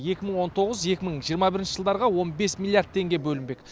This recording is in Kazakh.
екі мың он тоғыз екі мың жиырма бірінші жылдарға он бес миллиард теңге бөлінбек